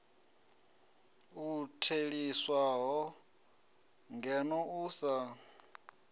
u theliswaho ngeno u sa